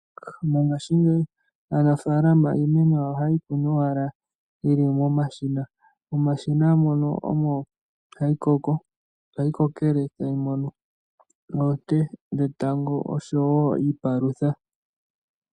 Mongashingeyi aanafalama iimeno yawo ohaye yi kunu owala yi li momashina. Momashina mono omo hayi kokele tayi mono oonte dhetango osho wo iipalutha.